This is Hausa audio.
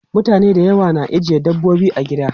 Mutane da yawa na ajiye dabbobi a gida.